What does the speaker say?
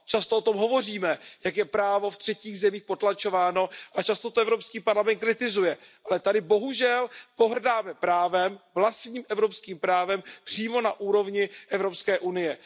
Často o tom hovoříme, jak je právo v třetích zemích potlačováno, a často to Evropský parlament kritizuje, ale tady bohužel pohrdáme právem, vlastním evropským právem, přímo na úrovni Evropské unie.